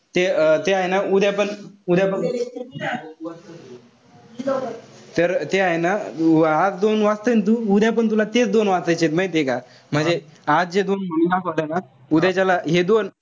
ते अं ते हाये ना उद्या पण तर ते हाये ना तू आज तू दोन वाचतोय ना तू. उद्या पण तुला तेच दोन वाचायचे माहितीय का. म्हणजे आज जे दोन होत ना, उद्याच्याला हे दोन,